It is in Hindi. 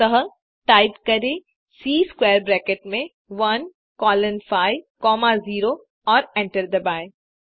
अतः टाइप करें सी स्क्वैर ब्रैकेट में 1 कोलोन 5 कॉमा 0 और एंटर दबाएँ